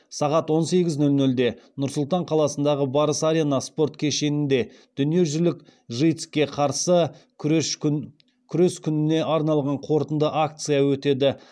сағат он сегіз нөл нөлде нұр сұлтан қаласындағы барыс арена спорт кешенінде дүниежүзілік житс ке қарсы күрес күніне арналған қорытынды акция өтеді